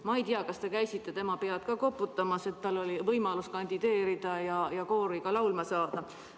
Ma ei tea, kas te käisite tema pead ka koputamas, et tal oli võimalus kandideerida ja koori laulma saada.